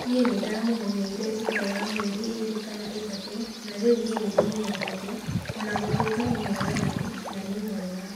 Nĩ ndaamũmenyeire thutha wa mĩeri ĩĩrĩ kana ĩtatũ, na rĩu nĩ ndĩmũmenyete, o na gũtuĩka nĩ mũũragani na nĩ mwega".